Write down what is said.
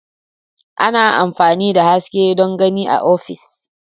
Ana amfani da haske don gani a ofis.